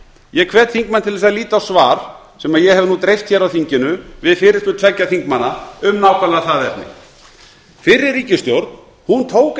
ég hvet þingmann til að líta á svar sem ég hef nú dreift hér á þinginu við fyrirspurn tveggja þingmanna um nákvæmlega það efni fyrri ríkisstjórn tók